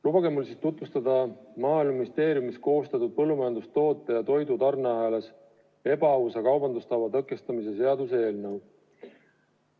Lubage mul tutvustada Maaeluministeeriumis koostatud põllumajandustoote ja toidu tarneahelas ebaausa kaubandustava tõkestamise seaduse eelnõu.